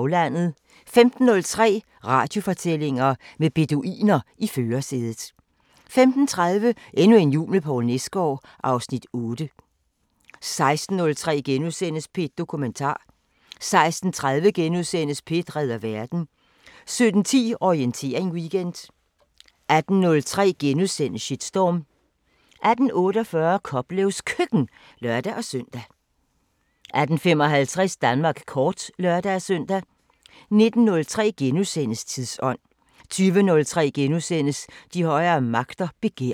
15:03: Radiofortællinger: Med beduiner i førersædet 15:30: Endnu en jul med Poul Nesgaard (Afs. 8) 16:03: P1 Dokumentar * 16:30: P1 redder verden * 17:10: Orientering Weekend 18:03: Shitstorm * 18:48: Koplevs Køkken (lør-søn) 18:55: Danmark kort (lør-søn) 19:03: Tidsånd * 20:03: De Højere Magter: Begær *